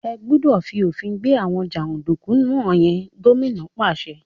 Ẹ́ gbúdọ̀ fi òfin gbé àwọn jàǹdùkú wọ̀n yẹn! Gómìnà náà pàṣẹ.